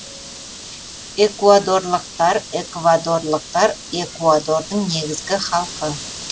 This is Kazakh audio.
экуадорлықтар эквадорлықтар экуадордың негізгі халқы